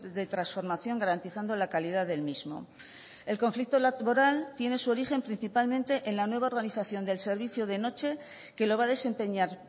de transformación garantizando la calidad del mismo el conflicto laboral tiene su origen principalmente en la nueva organización del servicio de noche que lo va a desempeñar